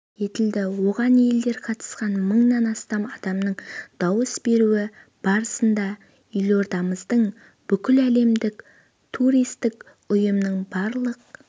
етілді оған елден қатысқан мыңнан астам адамның дауыс беруі барысында елордамыздың бүкіләлемдік туристік ұйымның барлық